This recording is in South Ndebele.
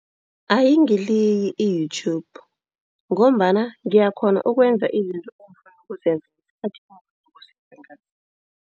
Ayingiliyi i-YouTube ngombana ngiyakghona ukwenza izinto engifuna ukuzenza ngesikhathi engifuna ukuzenza ngaso.